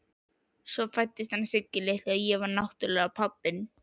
Svo fæddist hann Siggi litli og ég var náttúrlega pabbinn.